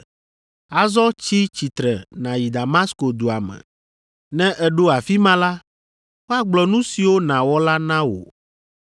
Azɔ tsi tsitre nàyi Damasko dua me; ne èɖo afi ma la, woagblɔ nu siwo nàwɔ la na wò.”